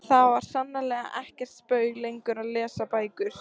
Það var sannarlega ekkert spaug lengur að lesa bækur.